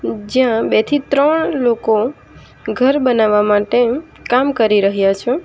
જ્યાં બે થી ત્રણ લોકો ઘર બનાવવા માટે કામ કરી રહ્યા છે.